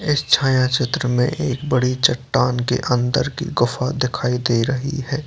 इस छाया चित्र में एक बड़ी चट्टान के अंदर की गुफा दिखाई दे रही है |